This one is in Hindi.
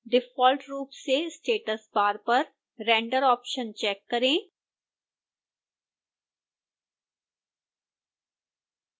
डिफॉल्ट रूप से status bar पर render ऑप्शन चेक है